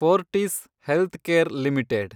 Fortis healthcare limited